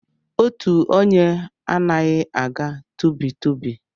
Otu onye anaghị aga tụbi tụbi